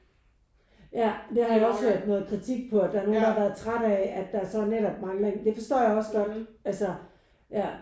Ja det har jeg også hørt noget kritik på at der er nogen der har været træt af at der så netop mangler en det forstår jeg også godt altå ja